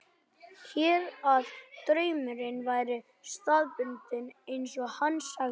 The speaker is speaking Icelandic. Hélt að draumurinn væri staðbundinn, eins og hann sagði.